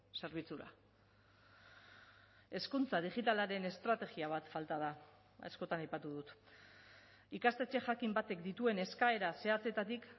zerbitzura hezkuntza digitalaren estrategia bat falta da askotan aipatu dut ikastetxe jakin batek dituen eskaera zehatzetatik